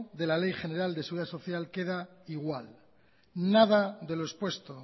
de la ley general de seguridad social queda igual nada de lo expuesto